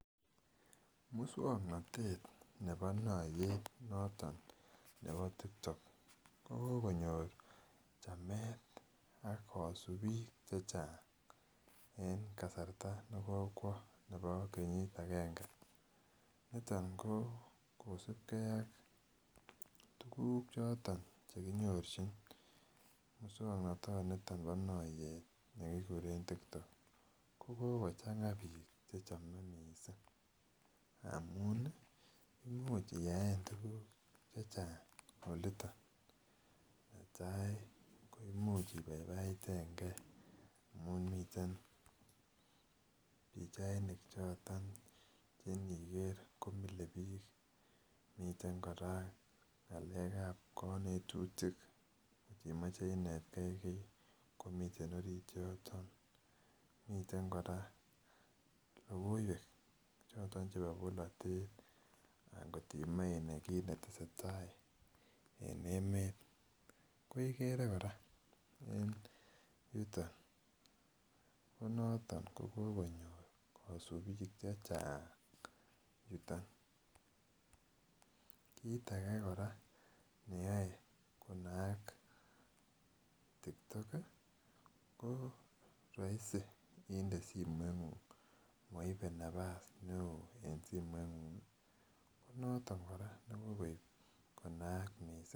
Moswoknatet nebo noyet noton nebo TikTok ko konyor chamet ak kasubik Che Chang en kasarta nekokwo nebo kenyit agenge niton ko kosubge ak tuguk choton Che kinyorchin moswoknatanito bo noyeet nekikuren TikTok ko ko kochanga bik mising amun iyaen tuguk Che Chang olito netai ko Imuch ibaibaiten ge amun miten pichainik choton Che iniker komile bik miten kora ngalekab konetutik kot imoche inet ge kii komiten orit yoton miten kora logoiwek choton chebo bolotet angot imoche inai kit ne tesetai en emet ko igere kora en yuton ko noton ko kogonyor kasubik Che Chang yuton kit age kora neyoe ko naak TikTok ko roisi inde simoingung moibe nafas neo en simoingung ko noton kora nekokoib ko naak mising